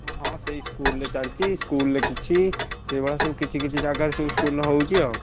ହଁ ସେଇ school ରେ ଚାଲଚି school ରେ କିଛି ସେଇଭଳିଆ ସବୁ କିଛି କିଛି ଜାଗାରେ ସବୁ ହଉଛି ଆଉ।